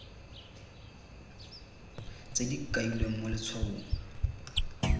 tse di kailweng mo letshwaong